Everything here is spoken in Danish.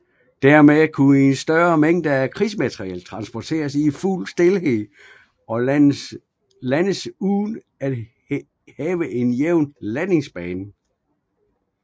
Dermed kunne større mængder krigsmateriel transporteres i fuld stilhed og landes uden at have en jævn landingsbane